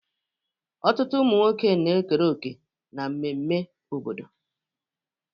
Ọtụtụ ụmụ nwoke na-ekere òkè na mmemme obodo.